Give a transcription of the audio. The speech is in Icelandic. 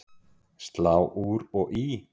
Slá úr og í